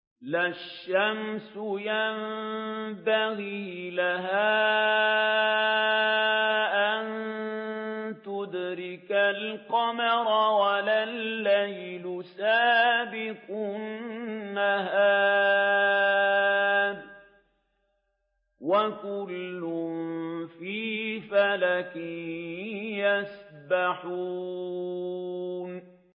لَا الشَّمْسُ يَنبَغِي لَهَا أَن تُدْرِكَ الْقَمَرَ وَلَا اللَّيْلُ سَابِقُ النَّهَارِ ۚ وَكُلٌّ فِي فَلَكٍ يَسْبَحُونَ